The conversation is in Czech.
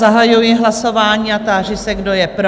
Zahajuji hlasování a táži se, kdo je pro?